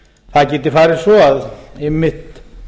það geti farið svo að einmitt